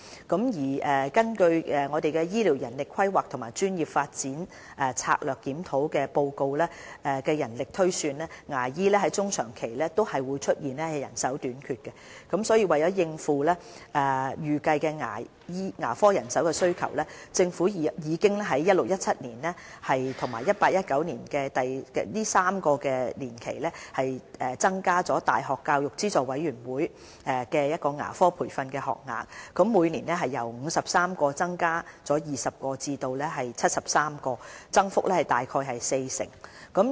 根據《醫療人力規劃和專業發展策略檢討報告》的人力推算，牙醫在中長期均會出現人手短缺，所以為應付未來的牙科人手需求，政府已於 2016-2017 學年至 2018-2019 學年的3年期，增加教資會的牙科培訓學額，由每年53個增加20個至73個，增幅約為四成。